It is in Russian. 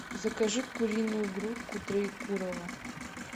закажи куриную грудку троекурово